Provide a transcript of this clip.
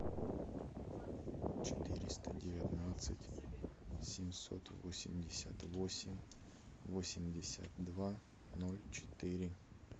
четыреста девятнадцать семьсот восемьдесят восемь восемьдесят два ноль четыре